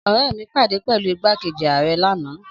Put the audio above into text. Ọ̀rẹ́ mi pàdé pẹ̀lú igbákejì ààrẹ lánàá